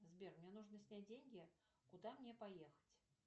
сбер мне нужно снять деньги куда мне поехать